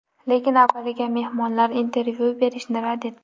Lekin avvaliga mehmonlar intervyu berishni rad etdi.